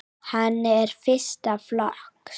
Hann er fyrsta flokks.